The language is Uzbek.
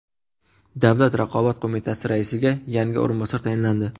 Davlat raqobat qo‘mitasi raisiga yangi o‘rinbosar tayinlandi.